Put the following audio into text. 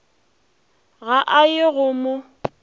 ga a ye go mo